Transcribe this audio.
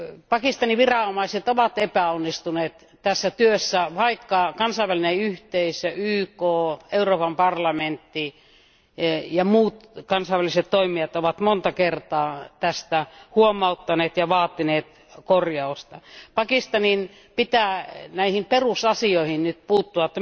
Pakistanin viranomaiset ovat epäonnistuneet tässä työssä, vaikka kansainvälinen yhteisö, YK, Euroopan parlamentti ja muut kansainväliset toimijat ovat monta kertaa tästä huomauttaneet ja vaatineet korjausta. Pakistanin pitää näihin perusasioihin nyt puuttua.